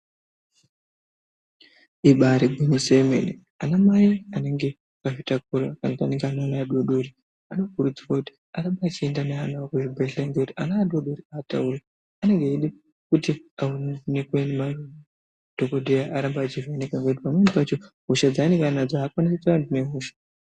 Ibari gwinyiso yomene anamai anenge akazvitakura kana kuti anenge Abe ana adodori ano kurudzirwe kuti arambe achienda neana awo kuzvibhedhlera ngekuti ana adodori atauri anenge eide kuti aaonekwe ngemadhokodheya arambe achivheneka ngekuti pamweni pacho hosha dzaanenge anadzo aakwanisi kutaura kuti ndine hosha.